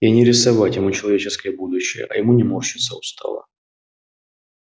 и не рисовать ему человеческое будущее а ему не морщиться устало